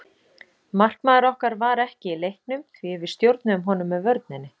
Markmaður okkar var ekki í leiknum því við stjórnuðum honum með vörninni.